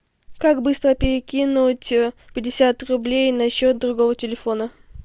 как быстро перекинуть пятьдесят рублей на счет другого телефона